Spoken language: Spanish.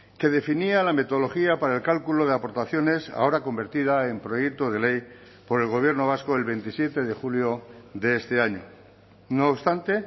que definía la metodología para el cálculo de aportaciones ahora convertida en proyecto de ley por el gobierno vasco el veintisiete de julio de este año no obstante